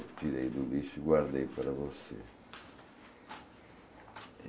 Eu tirei do lixo e guardei para você.